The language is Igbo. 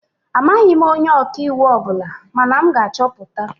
Amaghị m onye ọka iwu ọ bụla mana m ga-achọpụta